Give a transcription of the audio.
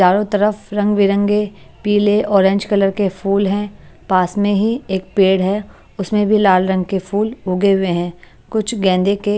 चारों तरफ रंग बिरंगे पीले ऑरेंज कलर के फूल हैं पास में ही एक पेड़ है उसमें भी लाल रंग के फूल उगे हुए हैं कुछ गेंदे के --